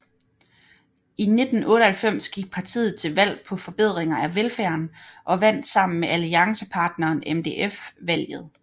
I 1998 gik partiet til valg på forbedringer af velfærden og vandt sammen med alliancepartneren MDF valget